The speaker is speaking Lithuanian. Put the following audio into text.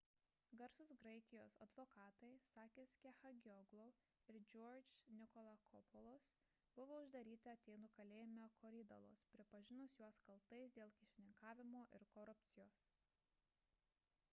garsūs graikijos advokatai sakis kechagioglou ir george nikolakopoulos buvo uždaryti atėnų kalėjime korydallos pripažinus juos kaltais dėl kyšininkavimo ir korupcijos